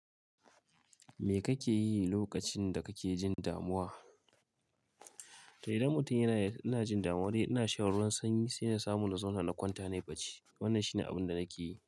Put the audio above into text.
Me kake yi lokacin da kake jin damuwa? Da idan mutum yana, yana jin damuwa dai yana shan ruwan sanyi sai na samun na zauna na kwanta ne ya bacci. Wannan shine abun da nake yi.